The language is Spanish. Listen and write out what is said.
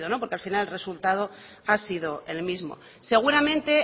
porque al final el resultado ha sido el mismo seguramente